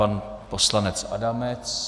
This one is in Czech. Pan poslanec Adamec.